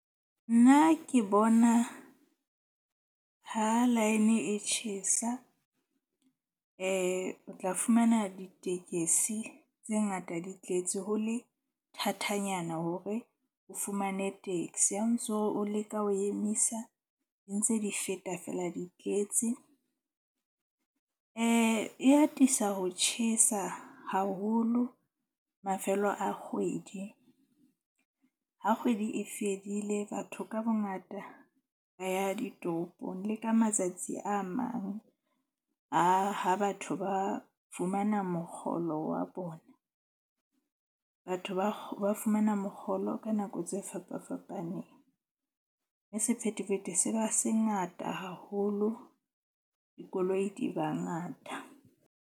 Nna ke bona ha line e tjhesa o tla fumana ditekesi tse ngata di tletse, ho le thathanyana hore o fumane taxi. Ha ntso o leka ho emisa, di ntse di feta feela, di tletse. E atisa ho tjhesa haholo mafelo a kgwedi. Ha kgwedi e fedile, batho ka bongata ba ya ditoropong le ka matsatsi a mang a ha batho ba fumana mokgolo wa bona. Batho ba ba fumana mokgolo ka nako tse fapafapaneng. Mme sephethephethe se ba se ngata haholo, dikoloi di ba ngata.